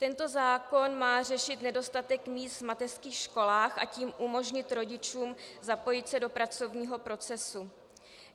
Tento zákon má řešit nedostatek míst v mateřských školách, a tím umožnit rodičům zapojit se do pracovního procesu.